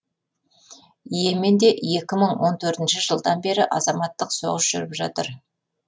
и еменде екі мың он төртінші жылдан бері азаматтық соғыс жүріп жатыр